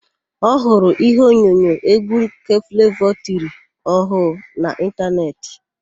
Ọ hụrụ íhé onyonyo égwú nke Flevọ tiri ọhụụ na ịntanetị.